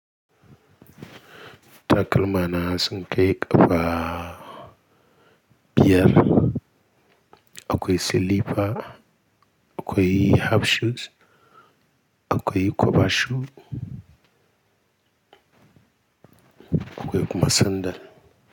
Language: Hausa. Takalma na sun kai ƙafa biyar, akwai silifa, akwai half shoes, akwai cover shoes, akwai kuma sandal.